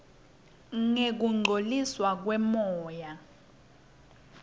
ngekungcoliswa kwemoya